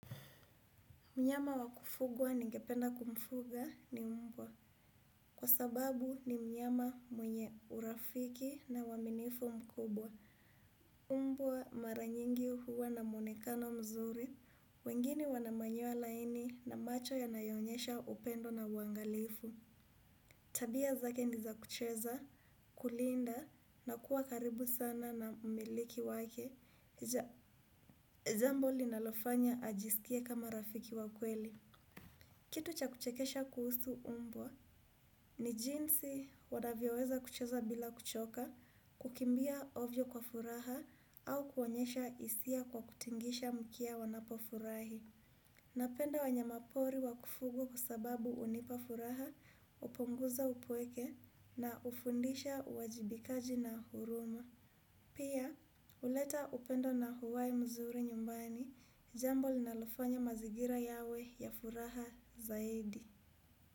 Mnyama wakufugwa ningependa kumfuga ni mbwa. Kwa sababu ni mnyama mwenye urafiki na uaminifu mkubwa. Mbwa mara nyingi huwa na mwonekano mzuri. Wengine wana manyoya laini na macho yanayoonyesha upendo na uangalifu. Tabia zake ni za kucheza, kulinda na kuwa karibu sana na mmiliki wake. Jambo linalofanya ajisikie kama rafiki wa kweli. Kitu cha kuchekesha kuhusu mbwa ni jinsi wanavyoweza kucheza bila kuchoka kukimbia ovyo kwa furaha au kuonyesha hisia kwa kutingisha mkia wanapofurahi. Napenda wanyama pori wa kufugwa kwa sababu hunipa furaha hupunguza upweke na hufundisha uwajibikaji na huruma. Pia, huleta upendo na uhai mzuri nyumbani, jambo linalofanya mazigira yawe ya furaha zaidi.